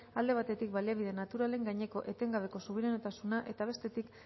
alde batetik baliabide naturalen gaineko etengabeko subiranotasuna eta bestetik